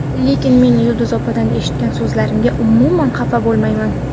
Lekin men Yulduz opadan eshitgan so‘zlarimga umuman xafa bo‘lmayman.